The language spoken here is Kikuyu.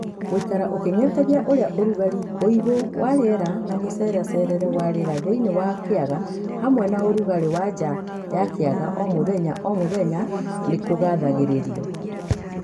Gũikara ũkĩng'etagia ũrĩa ũrugarĩ, ũigũ wa rĩera na mũceracerere wa riera thĩinĩ wa kĩaga hamwe na ũrugarĩ wa nja ya kĩaga o mũthenya o mũthenya nĩkũgathagĩrĩrio.